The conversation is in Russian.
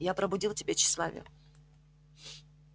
я пробудил в тебе тщеславие